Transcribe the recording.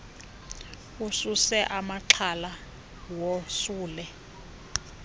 ususe amaxhala wosule